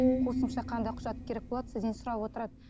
қосымша қандай құжат керек болады сізден сұрап отырады